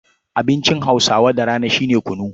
Abincin Hausawa da rana shi ne kunu.